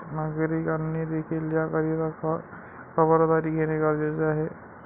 नागरिकांनी देखिल याकरिता खबरदारी घेणे गरजेचे आहे.